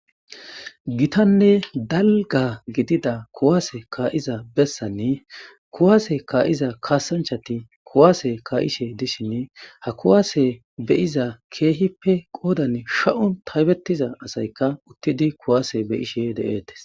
Gitanne dalga gidida kuwaase kaa'iza bessanne kuwaase kaa'iza kaasanchati kuwaase kaa'ishe dishin ha kuwaase beyiza keehippe qoodan sha'u taybettiza asaykka uttidi kuwaase beyishe de'eetes